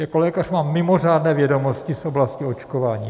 Jako lékař mám mimořádné vědomosti z oblasti očkování.